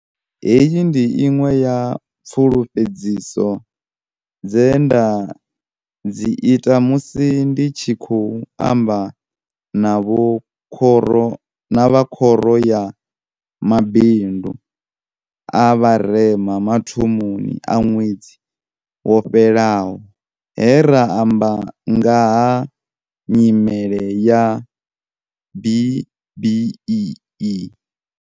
Heyi ndi iṅwe ya pfulufhe dziso dze nda dzi ita musi ndi tshi khou amba na vha Khoro ya Mabindu a Vharema mathomoni a ṅwedzi wo fhelaho he ra amba nga ha nyimele ya B-BBEE.